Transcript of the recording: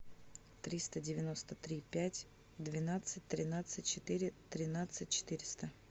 триста девяносто три пять двенадцать тринадцать четыре тринадцать четыреста